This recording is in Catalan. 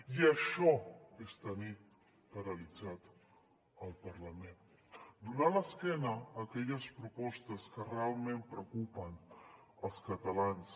i això és tenir paralitzat el parlament donar l’esquena a aquelles propostes que realment preocupen els catalans